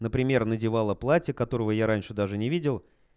например надевала платье которого я раньше даже не видел